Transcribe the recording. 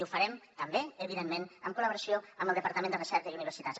i ho farem també evidentment amb col·laboració amb el departament de recerca i universitats